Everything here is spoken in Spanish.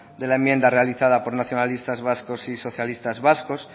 de la enmienda realizada por nacionalistas vascos y socialistas vascos